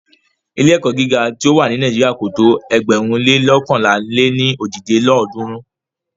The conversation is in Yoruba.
Ilé-ẹ̀kọ́ gíga tí o wà ni Nàíjírà kò tó ėgbẹ̀rún lé loókànlá lé ní ojì lélọ́ọ̀dúnrún.